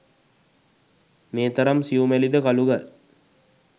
මේ තරම් සියුමැලි ද කළු ගල්